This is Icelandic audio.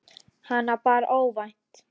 Hana bar óvænt að.